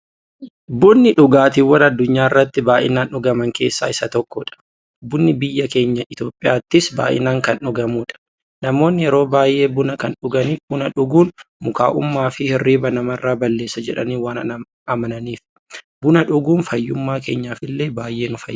Bunni dhugaatiiwwan addunyaarratti baay'inaan dhugaman keessaa isa tokkodha. Bunni biyya keenya Itiyoophiyaattis baay'inaan kan dhugamuudha. Namoonni yeroo baay'ee buna kan dhuganiif, buna dhuguun mukaa'ummaafi hirriiba namarraa balleessa jedhanii waan amananiifi. Buna dhuguun fayyummaa keenyaf illee baay'ee nu fayyada.